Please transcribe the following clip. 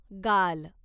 गाल